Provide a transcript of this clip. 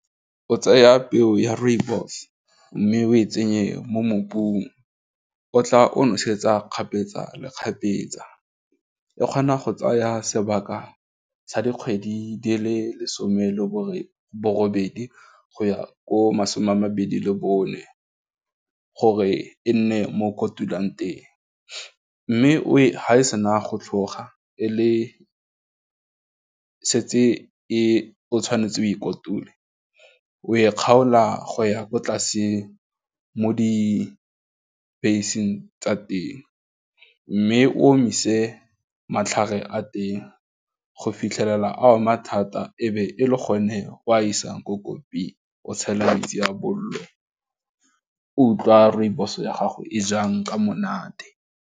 O tseya peo ya rooibos mme o e tsenye mo mobung o tla o nosetsa kgapetsa le kgapetsa, e kgona go tsaya sebaka sa dikgwedi di le lesome le borobedi go ya ko masome a mabedi le bone gore e nne mo kotulang teng mme ha e sena go tlhoga e le setse tshwanetse o e kotula o e kgaola go ya ko tlase mo di base-eng tsa teng, mme o omise matlhare a teng go fitlhelela ama thata ebe e le gone o a isang ko koppie-ng o tshela metsi a bollo, utlwa rooibos ya gago e jang ka monate.